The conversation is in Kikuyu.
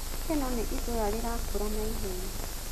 Kenol nĩ itũũra rĩrakũra naihenya.